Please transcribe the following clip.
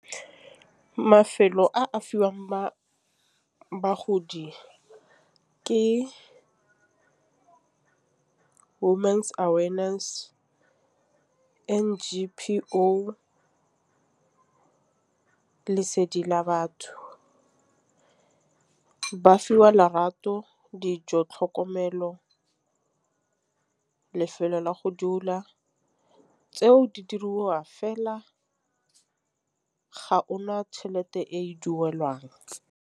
Mafelo a a fiwang ba bagodi ke women's awareness, N_G_P_O, lesedi la batho. Ba fiwa lerato dijo tlhokomelo, lefelo la go dula tseo di diriwa fela ga ona tšhelete e duelwang.